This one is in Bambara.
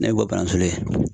Ne bɛ bɔ Banansole.